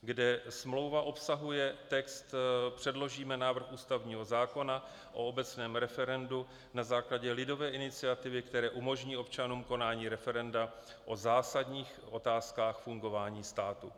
kde smlouva obsahuje text: Předložíme návrh ústavního zákona o obecném referendu na základě lidové iniciativy, které umožní občanům konání referenda o zásadních otázkách fungování státu.